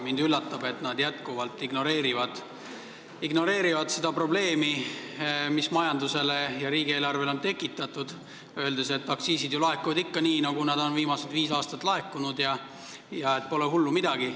Mind üllatab, et nad jätkuvalt ignoreerivad seda probleemi, mis majandusele ja riigieelarvele on tekitatud, ning ütlevad, et aktsiisid laekuvad ikka nii, nagu nad on viimased viis aastat laekunud ja pole hullu midagi.